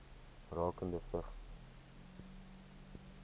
rakende vigs